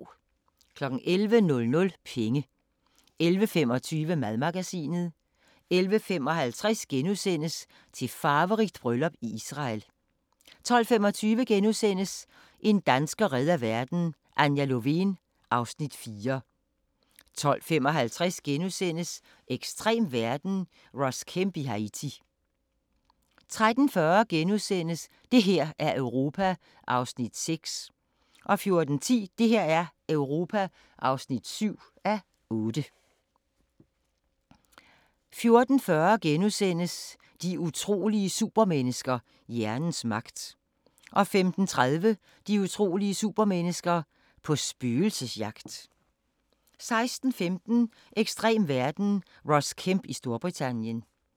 11:00: Penge 11:25: Madmagasinet 11:55: Til farverigt bryllup i Israel * 12:25: En dansker redder verden - Anja Lovén (Afs. 4)* 12:55: Ekstrem verden – Ross Kemp i Haiti * 13:40: Det her er Europa (6:8)* 14:10: Det her er Europa (7:8) 14:40: De utrolige supermennesker – hjernens magt * 15:30: De utrolige supermennesker – på spøgelsesjagt 16:15: Ekstrem verden – Ross Kemp i Storbritannien